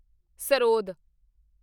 sarod